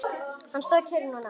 Hann stóð kyrr núna.